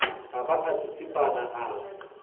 a ba a tsitsipana a